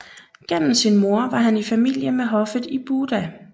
Gennem sin mor var han i familie med hoffet i Buda